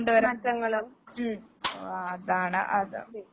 മാറ്റങ്ങള്.